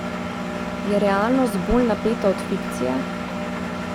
Je realnost bolj napeta od fikcije?